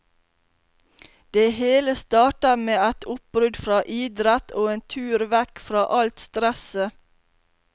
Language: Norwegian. Det hele startet med et oppbrudd fra idrett og en tur vekk fra alt stresset.